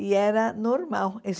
E era normal esses